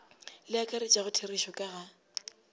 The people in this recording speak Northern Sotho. le akaretšago therešo ka ga